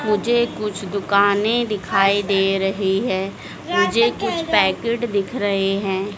मुझे कुछ दुकानें दिखाई दे रही है मुझे कुछ पैकेट दिख रहे है।